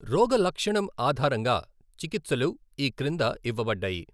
రోగలక్షణం ఆధారంగా చికిత్సలు ఈ క్రింద ఇవ్వబడ్డాయి.